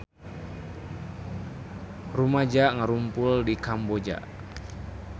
Rumaja ngarumpul di Kamboja